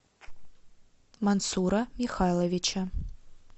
мансура михайловича